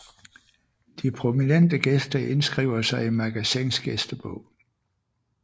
De prominente gæster indskriver sig i Magasins gæstebog